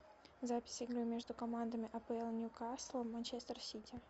запись игры между командами апл ньюкасл и манчестер сити